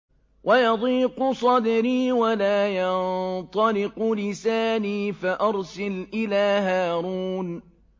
وَيَضِيقُ صَدْرِي وَلَا يَنطَلِقُ لِسَانِي فَأَرْسِلْ إِلَىٰ هَارُونَ